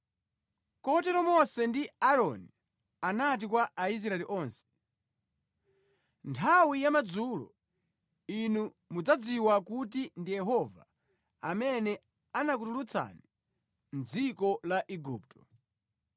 Kotero Mose ndi Aaroni anati kwa Aisraeli onse, “Nthawi yamadzulo inu mudzadziwa kuti ndi Yehova amene anakutulutsani mʼdziko la Igupto.